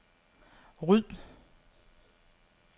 ryd